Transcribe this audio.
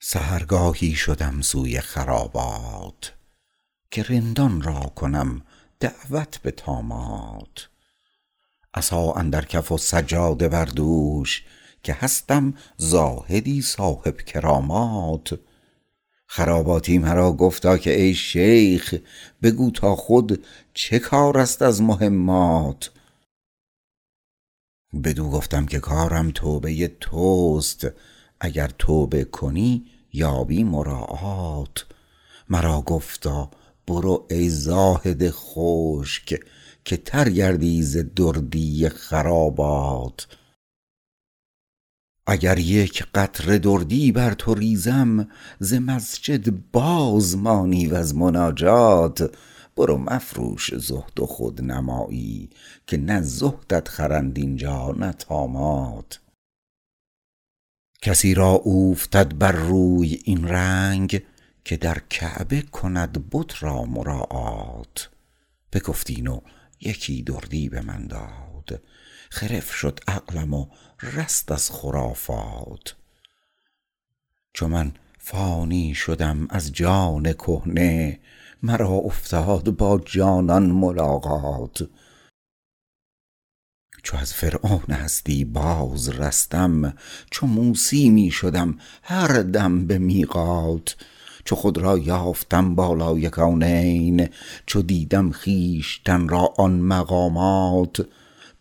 سحرگاهی شدم سوی خرابات که رندان را کنم دعوت به طامات عصا اندر کف و سجاده بر دوش که هستم زاهدی صاحب کرامات خراباتی مرا گفتا که ای شیخ بگو تا خود چه کار است از مهمات بدو گفتم که کارم توبه توست اگر توبه کنی یابی مراعات مرا گفتا برو ای زاهد خشک که تر گردی ز دردی خرابات اگر یک قطره دردی بر تو ریزم ز مسجد باز مانی وز مناجات برو مفروش زهد و خودنمایی که نه زهدت خرند اینجا نه طامات کسی را اوفتد بر روی این رنگ که در کعبه کند بت را مراعات بگفت این و یکی دردی به من داد خرف شد عقلم و رست از خرافات چو من فانی شدم از جان کهنه مرا افتاد با جانان ملاقات چو از فرعون هستی باز رستم چو موسی می شدم هر دم به میقات چو خود را یافتم بالای کونین چو دیدم خویشتن را آن مقامات